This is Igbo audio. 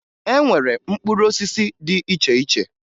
E nwere mkpụrụ osisi dị iche iche